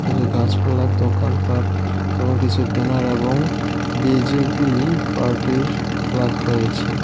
কিছু গাছপালা দোকানপাট এবং কিছু বেনার এবং বি_জে_পি পার্টির ফ্ল্যাগ রয়েছে।